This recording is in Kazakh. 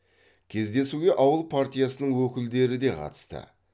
кездесуге ауыл партиясының өкілдері де қатысты